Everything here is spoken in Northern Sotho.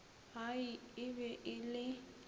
ai e be e le